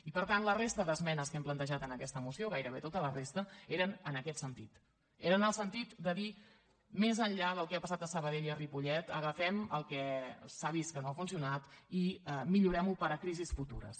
i per tant la resta d’esmenes que hem plantejat en aquesta moció gairebé tota la resta eren en aquest sentit era en el sentit de dir més enllà del que ha passat a sabadell i a ripollet agafem el que s’ha vist que no ha funcionat i millorem·ho per a crisis futures